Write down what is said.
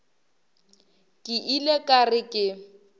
ke ile ka re ke